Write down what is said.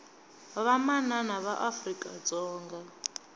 vamanana va afrika dzonga